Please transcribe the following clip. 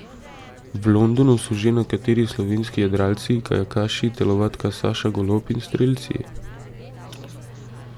V Londonu s že nekateri slovenski jadralci, kajakaši, telovadka Saša Golob in strelci.